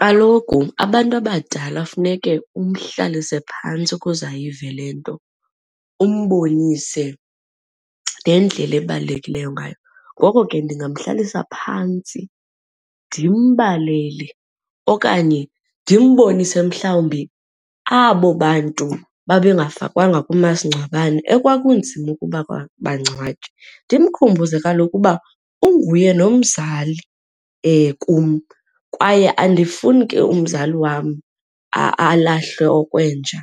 Kaloku abantu abadala funeke umhlalise phantsi ukuze ayive le nto umbonise nendlela ebalulekileyo ngayo. Ngoko ke ndingamhlalisa phantsi ndimbalele okanye ndimbonise mhlawumbi abo bantu babengafakwanga kumasingcwabane ekwakunzima ukuba bangcwatywe. Ndimkhumbuze kaloku uba unguye nomzali kum kwaye andifuni ke umzali wam alahlwe okwenja.